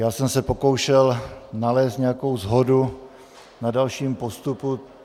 Já jsem se pokoušel nalézt nějakou shodu na dalším postupu.